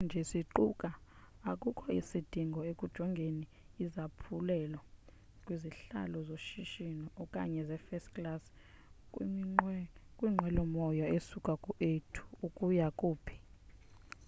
xa sithetha nje siquka akukho sidingo ekujongeni izaphulelo kwizihlalo zoshishino okanye ze first class kwinqwelomoya esuka ku a ukuya ku b